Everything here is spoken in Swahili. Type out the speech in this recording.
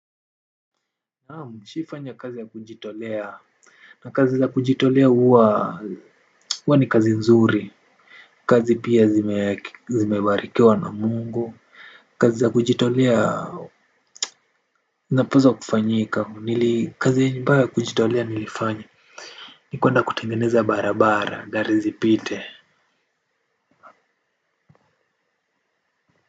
Naam, nishawahifanya kazi ya kujitolea na kazi za kujitolea huwa ni kazi nzuri kazi pia zimebarikiwa na mungu kazi za kujitolea zinapaswa kufanyika kazi ambayo ni ya kujitolea nilifanya ni kuenda kutengeneza barabara gari zipite.